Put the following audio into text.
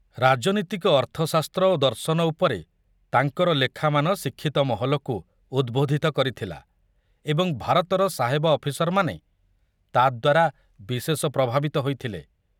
ରାଜନୀତିକ ଅର୍ଥଶାସ୍ତ୍ର ଓ ଦର୍ଶନ ଉପରେ ତାଙ୍କର ଲେଖାମାନ ଶିକ୍ଷିତ ମହଲକୁ ଉଦ୍‌ବୋଧିତ କରିଥିଲା ଏବଂ ଭାରତର ସାହେବ ଅଫିସରମାନେ ତାଦ୍ୱାରା ବିଶେଷ ପ୍ରଭାବିତ ହୋଇଥିଲେ।